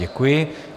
Děkuji.